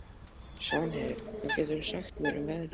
Svanheiður, hvað geturðu sagt mér um veðrið?